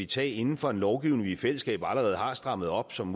tage inden for en lovgivning vi i fællesskab allerede har strammet op som